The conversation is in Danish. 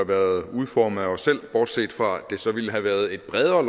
været udformet af os selv bortset fra at det så ville have været et bredere og